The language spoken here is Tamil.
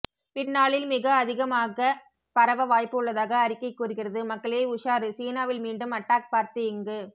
பின்னாளில் மிக அதிகமாக்க பரவ வாய்ப்பு உள்ளதாக அறிக்கை கூறுகிறது மக்களே உஷாரு சீனாவில் மீண்டும் அட்டாக் பார்த்து இங்கு